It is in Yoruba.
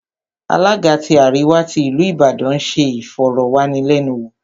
Alága tí àríwá tí ìlú Ìbàdàn ń se ìfọ̀rọ̀wánilẹ́nuwò